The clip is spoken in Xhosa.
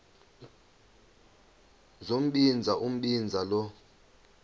sombinza umbinza lo